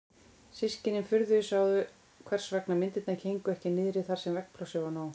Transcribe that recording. Systkinin furðuðu sig á hvers vegna myndirnar héngu ekki niðri þar sem veggplássið var nóg.